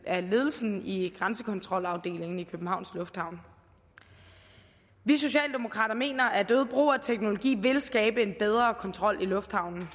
af ledelsen i grænsekontrolafdelingen i københavns lufthavn vi socialdemokrater mener at øget brug af teknologi vil skabe en bedre kontrol i lufthavnen